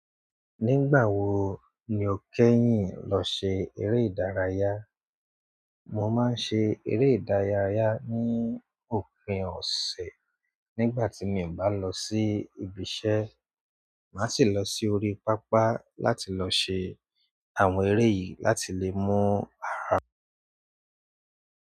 Nígbà wo ni o kẹ́yìn lọ ṣe eré ìdárayá? Mo máa ń ṣe eré ìdárayá ní òpin ọ̀sẹ̀ nígbà tí mi ò bá lọ sí ibi iṣẹ́. Màá sì lọ sí orí pápá láti lọ ṣe àwọn eré yìí láti lè mú ara mi rẹ́.